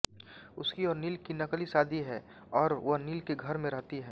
उसकी और नील की नकली शादी है और वह नील के घर में रहती है